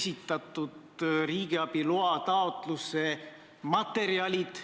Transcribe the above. Selle põhjal langetatakse otsuseid, millisel üritusel osaleda – sõltuvalt sellest, kus riigis see aset leiab – ja millisel mitte.